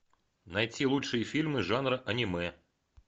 найти лучшие фильмы жанра аниме